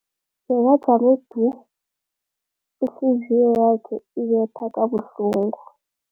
Bekajame du, ihliziyo yakhe ibetha kabuhlungu.